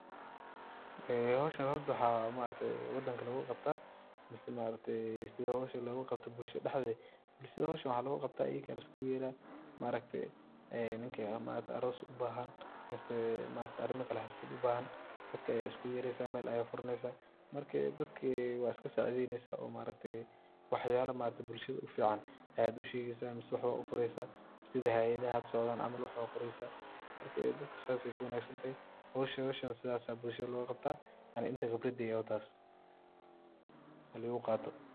Howshan maaragte waxa wadanka logaqabta mise sida howsha logaqabta bulshada dhexdeda, bulshada howshan waxa logaqabta ayaka laiskuguyera maaragte ninki aroos ubahan mise arimakale xaflad ubahan dadka ayad iskuguyereysa meel aya furaneysa amrka dadki wad iskasacideyneysa oo maaragte waxyala bulshada ufican ayad ushegeysa mise waxbad ufure sida hayadaha hada socdan camal waxbad qoreysa marka dadka sidas kuwanagsantahay howshan sidas aya bulshada logaqabta aniga inta qibradeyda ah watas halaiguqato.